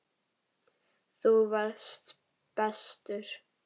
Þú varst bestur.